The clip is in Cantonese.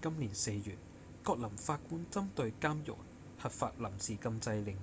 今年四月葛林法官針對監獄核發臨時禁制令